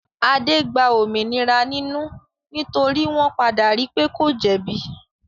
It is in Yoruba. Adé gba òmìnira nínú nítorí wọ́n padà ri pé kò jẹ̀bi.